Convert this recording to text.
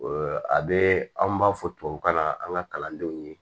a bɛ anw b'a fɔ tubabukan na an ka kalandenw ye